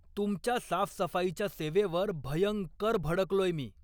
तुमच्या साफसफाईच्या सेवेवर भयंकर भडकलोय मी.